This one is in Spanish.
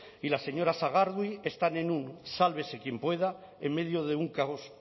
y la señora sagardui están en un sálvese quien pueda en medio de un caos